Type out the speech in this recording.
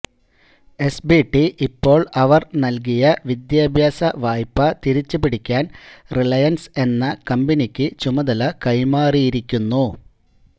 SBT ഇപ്പോള് അവര് നല്കിയ വിദ്യാഭ്യാസ വായ്പ തിരിച്ചുപിടിക്കാന് റിലയന്സ് എന്ന കമ്പനിക്ക് ചുമതല കൈമാറിയിരിക്കുന്നു